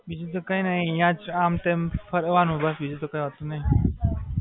બીજું તો કી નહીં, અહિયાં જ આમ-તેમ ફર્યા કરવાનું બસ બીજું તો કઈ હોતું નહીં.